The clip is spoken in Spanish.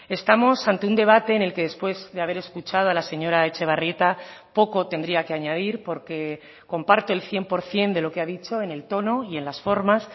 estamos ante un debate en el que después de haber escuchado a la señora etxebarrieta poco tendría que añadir porque comparto el cien por ciento de lo que ha dicho en el tono y en las formas